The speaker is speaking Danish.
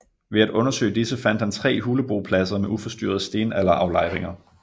Ved at undersøge disse fandt han tre hulebopladser med uforstyrrede stenalderaflejringer